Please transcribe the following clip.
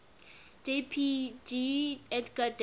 jpg edgar degas